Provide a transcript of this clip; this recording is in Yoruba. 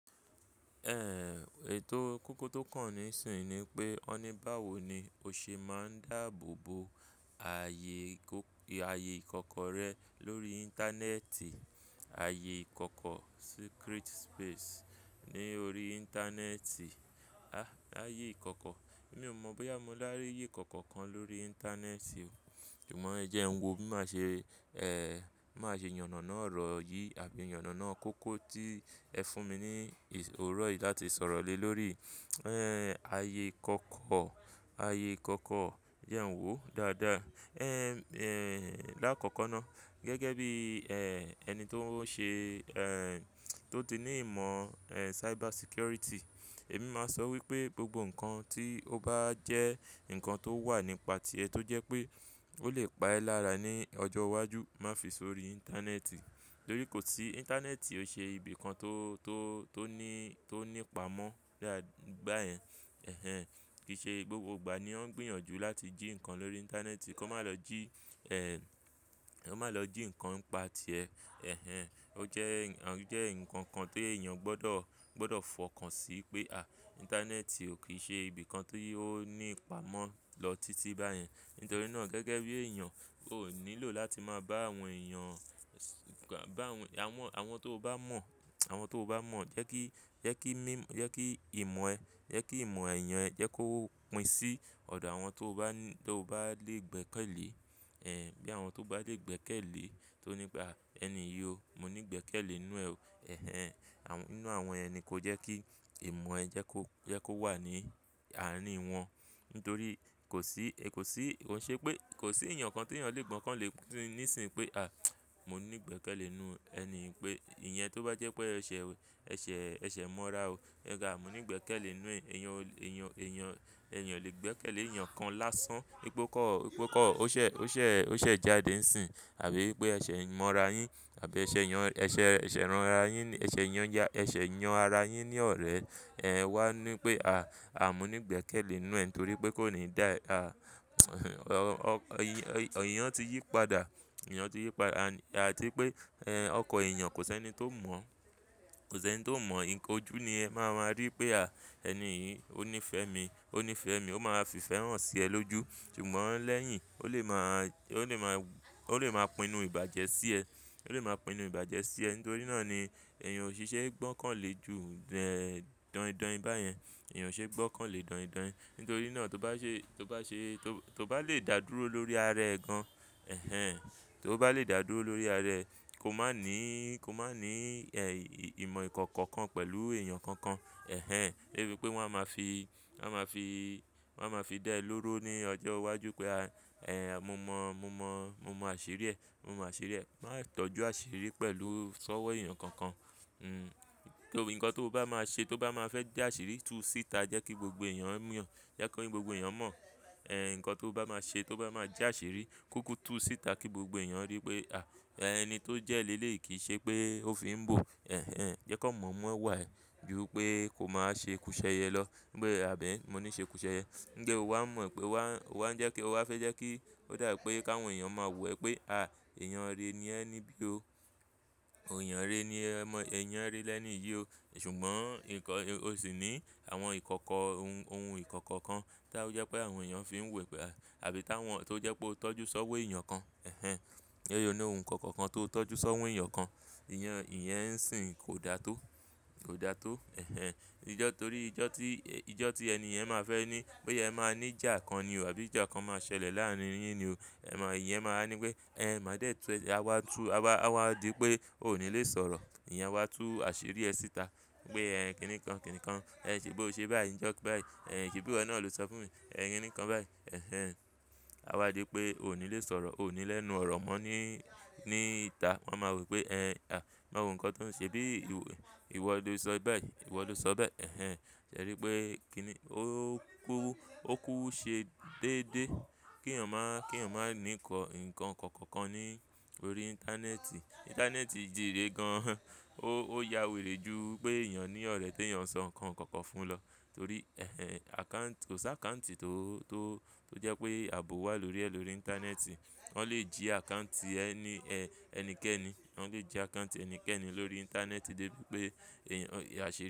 Ẹ̀ ètò kókó tó kàn níìsín ni pé ọní báwo ni o ṣe máa ń dààbò bo ààyè ìkọ̀kọ̀ rẹ lórí Íńtánẹ́ẹ̀tì, ààyè ìkọ̀kọ̀ secret space ní orí Íńtánẹ́ẹ̀tì, a ààyè ìkọ̀kọ̀. Mi ò mọ̀ bóyá mo láti rí ìyí ìkọ̀kọ̀ kan lórí Íńtánẹ́ẹ̀tì o. Ṣùgbọ́n ẹ jẹ ń wo, má ṣe, ẹ́ má ṣe yànàná ọ̀rọ̀ yìí àbí yànàná kókó tí ẹ fún mi ní oòrò yìí láti sọ̀rọ̀ lé lórí, ẹ́ ààyè ìkọ̀kọ̀, ààyè ìkọ̀kọ̀ jẹ ń wò dáadáa. Ẹ́ lákọ̀kọ́ ná gẹ́gẹ́ bí ẹ́ ẹni tó ń ṣe ẹ́ tó ti ní ìmọ̀ ẹ cyber security, èmi máa sọ wípé gbogbo ǹnkan tí ó bá jẹ́ ǹnkan tó wà nípa ti ẹ tó jẹ́ pé ó lè pa ẹ́ lára ní ọjọ́ iwájú, má fi sórí Íńtánẹ́ẹ̀tì. Nítorí kò sí Íńtánẹ́ẹ̀tì ò ṣe ibi kan tó, tó, tó ní, tó ní pamọ́ bá yẹn. Ẹ̀hẹn. Kì í ṣe gbogbo ìgbà ni wọ́n gbìyànjú láti jí ǹkan lórí Íńtánẹ́ẹ̀tì, kó má lọ jí ẹ́ kó má lọ jí ǹnkan n pa ti ẹ. Ẹ̀hẹn. Ó jẹ́ ǹnkan kan t'èèyàn gbọ́dọ̀, gbọ́dọ̀ fọkàn sí pé a Íńtánẹ́ẹ̀tì ò kí í ṣe ibi kan ti ó ní ipàmọ́ lọ títí báyẹn. Nítorí ná gẹ́gẹ́ bí èèyàn, o nílò láti má bá àwọn èèyàn báwọn, àwọn, àwọn tó bá mọ̀, àwọn tó bá mọ̀ jẹ́ kí, jẹ́ kí mí, jẹ́ kí ìmọ̀ ẹ, jẹ́ kí ìmọ̀ ẹ̀yàn ẹ jẹ́ kó pín sí ọ̀dọ̀ àwọn tó bá ní tó bá lè gbẹ́kẹ̀lé ẹ́ bí àwọn tó bá lè gbẹ́kẹ̀lé tó ní pé a ẹni yìí o, mo ní gbẹ́kẹ̀lé inú ẹ. Ẹ̀hẹn. Àwọn inú àwọn ẹni kó jẹ́ kí ìmọ̀ ẹ jẹ́ kó, jẹ́ kó wà ní àárin wọn. Nítorí kò sí, kò sí, kò ṣe pé kò sí èèyàn kan t'èèyàn lè gbọ́kàn lé nísínyi pé a mo ní gbẹ́kẹ̀lé inú ẹni pé ìyẹn tó bá jẹ́ pé ẹ̀ṣẹ̀, ẹ̀ṣẹ̀, ẹ̀ṣẹ̀ mọ́ra e pe a mo ní igbẹ́kẹ̀lé n nú ẹ. Ẹ̀eyàn, èèyàn, èèyàn, èèyàn o lè gbẹ́kẹ̀lé èèyàn kan lásán. Wipe o kan, wìpe o kan ó ṣẹ̀, ó ṣẹ̀, ó ṣẹ̀ jáde nsínyi àbí pé ẹ̀ṣẹ̀ mọ́ra yín àbí ẹṣẹ̀ yàn, ẹṣẹ̀, ẹṣẹ̀ ránra yín, ẹṣẹ̀ yàn ya, ẹṣẹ̀ yan ara yín ní ọ̀rẹ́ ẹ wá ní pé a, a mo ní gbẹ́kẹ̀lé n nú ẹ nítorí pé kó ní dá e ah, eeyan ti yí padà, èèyàn ti yí padà and àti wipé ẹ́hn ọkan èèyàn kò sí ẹni tó mọ̀, kò s'ẹn tó mọ̀. Koju ni ẹ́ máa máa rí pé a ẹni yìí ó ní ìfẹ́ mi, ó ní ìfẹ́ mi, ó máa fi ìfẹ́ hàn sí ẹ lóju. Ṣùgbọ́n lẹ́yìn ó lè má, ó lè má, ó lè má pinu ìbàjẹ́ sí ẹ, ó lè má pinu ìbàjẹ́ sí ẹ. Nítorí náà ni èèyàn ò si ṣe é gbọ́kàn lé ju de daindain bà yẹn. Ẹ̀yàn ò ṣe é gbọ́kàn lé daindain. Nítorí náà tó bá ṣe, tó bá ṣe, tó bá lè dàdúró lórí ara ẹ gan. Ẹ̀hẹn. Tó bá lè dàdúró lórí ara ẹ, kó má ní, kó má ní ẹ́ ì, ìmọ̀ ìkọ̀kọ̀ kan pẹ̀lú èèyàn kankan. Ẹ̀hẹn. Debi pé wọ́n á máa fi, wọ́n á máa fi, wọ́n á máa fi dẹ́ ẹ lóró ní ọjọ́ iwájú pé a ẹ́ mo mọ̀, mo mọ̀, mo mọ àṣírí ẹ, mo mọ̀ àṣírí ẹ. Wọn á tọ́jú àṣírí pẹ̀lú sọ́wọ́ èèyàn kankan. Hmm. Nítorí ǹkan tó bá máa ṣe tó bá máa fẹ́ já àṣírí tú síta jẹ́ kí gbogbo èèyàn mọ̀, jẹ́ kí gbogbo èèyàn mọ̀ ẹ́ ǹkan tó bá máa ṣe tó bá máa já àṣírí kúkú tú síta kí gbogbo èèyàn rí pé a ẹni tó jẹ́ léle yìí kì í ṣe pé ó fi ń bò. Ẹ̀hẹn. Jẹ́ kan mọ̀ mo iwà ẹ́ ju pé kó má wa ṣekúṣẹyẹ lọ. Gbé àbẹ̀ mọ́ ní ìṣekúṣẹyẹ. Gẹ́ o wá mọ̀ ẹ́ pé wá, o wá ń jẹ́ kí o wá fẹ́ jẹ́ kí ó dà pé kí àwọn èèyàn máa wò ẹ́ pé a èèyàn rere ni ẹ níbí o. Òòyàn rere ni ẹ mọ́, èèyàn rere lẹ́ni iyì o. Ṣùgbọ́n ǹkan o sì ní àwọn ìkọ̀kọ̀ ohun, ohun ìkọ̀kọ̀ kan tí aọ jẹ́ pé àwọn èèyàn fi ń wò ẹ́ pé àbí táwọn tó jẹ́ pé o tọ́jú sọ́wọ́ èèyàn kan. Ẹ̀hẹn. Nítorí oní ohun ìkọ̀kọ̀ kan tó tọ́jú sọ́wọ́ èèyàn kan. Ìyẹn, ìyẹn ń ṣìn kò da tó, kò da tó. Ẹ̀hẹn. Ìjọ́ torí ìjọ́ tí, ìjọ́ tí ẹni èèyàn máa fẹ́ ní pé ẹ máa ní ìjà kan ni o àbí ìjà kan máa ṣẹlẹ̀ láàárín yín ni o. Ẹ̀ mọ̀ ìyẹn máa ní pé ẹ́ máa dé ẹ tu ẹ́, a wá tu a wá, a wá di pé o ò ní lè sọ̀rọ̀. Ìyẹn wá tú àṣírí ẹ síta pé ẹ́ kí nìkan, kí nìkan. Ẹ ṣébí o ṣe báyìí nijó kàn ba yìí. Ẹ̀ ṣé bí iwò nà ló sọ fún mi. Ẹ̀ kí nìkan báyìí. Ẹ̀hẹn. A wá di pé o ò ní lè sọ̀rọ̀, o ò ní lẹ́nu ọ̀rọ̀ mọ́ ní, ní ìta. Wọn máa wò pé ẹ́ a máa wò ǹkan tó ń ṣe bí ìwọ ló sọ báyìí, ìwọ ló sọ bẹ́ẹ̀. Ẹ̀hẹn. Ṣé rí pé kí ni ó kú, ó kú ṣẹ déédéé kí ẹ̀yàn má, kí ẹ̀yàn má ní kọ ǹkan kọ̀kọ̀ kan ní orí Íńtánẹ́ẹ̀tì. Íńtánẹ́ẹ̀tì jìre gan. Ó, ó ya wèrè ju pé èèyàn ní ọ̀rẹ́ tó ń sọ ǹkan kọ̀kọ̀ fún ẹ lọ. Torí ẹ́hẹn àkáǹtì kò sí àkáǹtì tó, tó, tó jẹ́ pé ààbò wà lórí ẹ lórí Íńtánẹ́ẹ̀tì. Wọ́n lè jí àkáǹtì ẹni ẹ́ ẹnikẹ́ni, wọ́n lè jí àkáǹtì ẹnikẹ́ni lórí Íńtánẹ́ẹ̀tì dé bí pé èèyàn a ṣe pa.